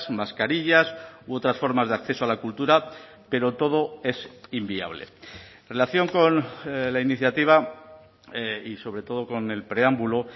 mascarillas u otras formas de acceso a la cultura pero todo es inviable en relación con la iniciativa y sobre todo con el preámbulo